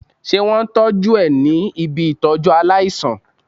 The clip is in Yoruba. Ṣé wón tọ́jú ẹ ní ibi Ìtọ́jú aláìsàn?